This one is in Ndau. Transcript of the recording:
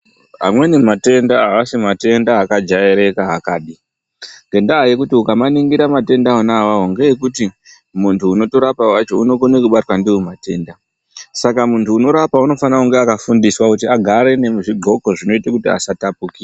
Amweni matenda aasi matenda akajairika akapi ngendaa yekuti ukamaningira matenda ona awawo ngeekuti muntu unotorapa wacho unokone kutobatwa ndiwo matenda saka muntu unorapa unofanire kunge akafundiswa kuti agare nezvidhloko zvinoite kuti asatapukira.